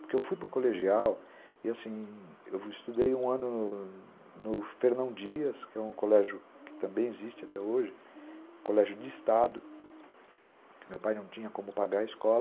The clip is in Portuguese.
Porque eu fui para o colegial e, assim, eu estudei um ano no Fernão Dias, que é um colégio que também existe até hoje, colégio de Estado, que meu pai não tinha como pagar a escola,